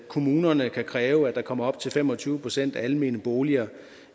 kommunerne kan kræve at der kommer op til fem og tyve procent almene boliger